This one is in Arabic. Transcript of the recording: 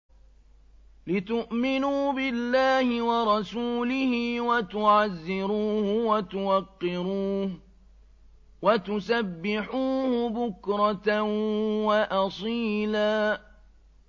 لِّتُؤْمِنُوا بِاللَّهِ وَرَسُولِهِ وَتُعَزِّرُوهُ وَتُوَقِّرُوهُ وَتُسَبِّحُوهُ بُكْرَةً وَأَصِيلًا